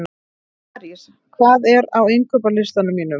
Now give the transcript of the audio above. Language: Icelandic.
Marís, hvað er á innkaupalistanum mínum?